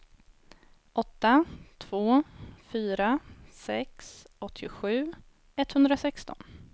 åtta två fyra sex åttiosju etthundrasexton